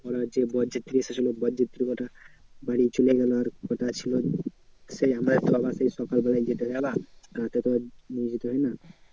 ওরা সেই বরযাত্রী এসেছিলো বরযাত্রী কটা বাড়ি চলে গেলো। আর বোধহয় ছিল সেই আমাদের সকাল বেলায় যেটা ওটা তোর